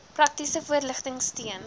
praktiese voorligting steun